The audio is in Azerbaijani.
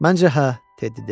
Məncə, hə, Teddi dedi.